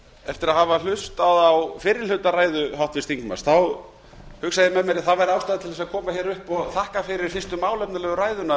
eftir að hafa hlustað á fyrri hluta ræðu háttvirts þingmanns hugsaði ég með mér að ástæða væri til að koma hingað upp og þakka fyrir fyrstu málefnalegu ræðuna